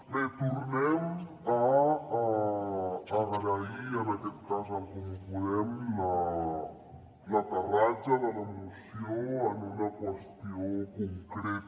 bé tornem a agrair en aquest cas a en comú podem l’aterratge de la moció en una qüestió concreta